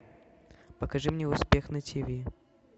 покажи мне успех на тв